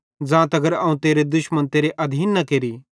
ज़ां तगर अवं तेरे दुश्मन तेरे अधीन न केरि